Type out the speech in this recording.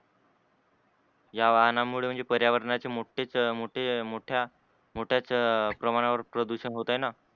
या वाहनामुळे म्हणजे र्यावरणाचे मोठेच मोठे मोठ्या, मोठ्याच प्रमाणावर प्रदूषण होत आहे न?